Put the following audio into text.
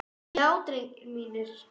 Já drengir mínir.